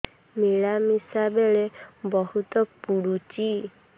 ମିଳାମିଶା ବେଳେ ବହୁତ ପୁଡୁଚି